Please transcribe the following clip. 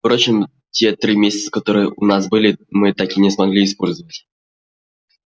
впрочем те три месяца которые у нас были мы так и не смогли использовать